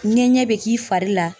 Ŋɛɲɛ bɛ k'i fari la.